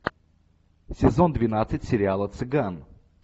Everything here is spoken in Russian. сезон двенадцать сериала цыган